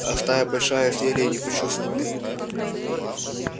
а стая большая съели и не почувствовали